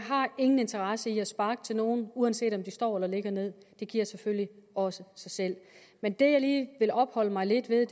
ingen interesse i at sparke til nogen uanset om de står eller ligger nederst det giver selvfølgelig også sig selv men det jeg lige vil opholde mig lidt ved er